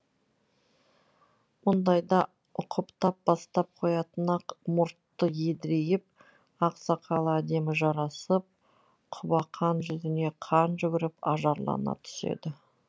мұндайда ұқыптап басып қоятын ақ мұрты едірейіп ақ сақалы әдемі жарасып құбақан жүзіне қан жүгіріп ажарлана түседі